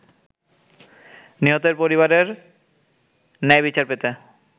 নিহতের পরিবারের ন্যায়বিচার পেতে